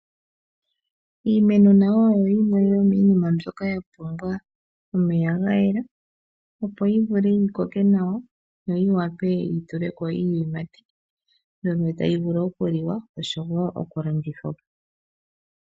Iimeno nayo oyo yimwe yomiinima myboka ya pumbwa omeya ga yela, opo yi vule yi koke nawa noyi wape yi tule ko iiyimati mbyono tayi vulu oku li wa oshowo oku landithwa po.